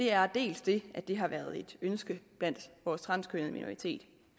er dels det at det har været et ønske blandt vores transkønnede minoritet